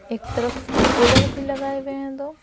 एक तरफ कुलर भी लगाए हुए हैं दो।